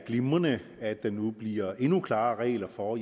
glimrende at der nu bliver endnu klarere regler for